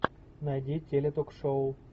найди теле ток шоу